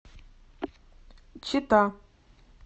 чита